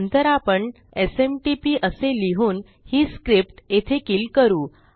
नंतर आपण एसएमटीपी असे लिहून ही स्क्रिप्ट येथे किल करू